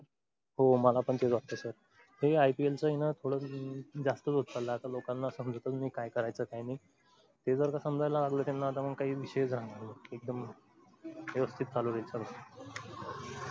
हो मला पण तेच वाटतं sir हे ipl च आहे ना थोडं जास्तचं होत चाललंय आता लोकांना समजतच नाही काय करायचं काय नाही. ते जर का समजायला लागलं तर मग काय विषयाचं राहणार नाही. एकदम व्यवस्थित चालू होईल सर्व.